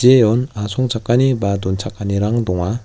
jeon asongchakani ba donchakanirang donga.